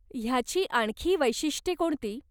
ह्याची आणखी वैशिष्ट्ये कोणती?